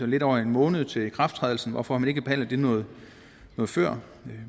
lidt over en måned til ikrafttrædelsen så hvorfor har man ikke behandlet det noget før